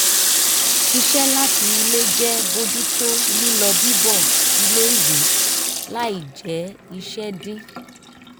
ṣiṣẹ́ láti ilé jẹ́ bójú tó lílọ bíbọ̀ ilé ìwé láì jẹ́ iṣẹ́ dín